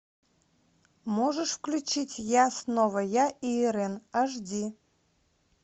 можешь включить я снова я и ирэн аш ди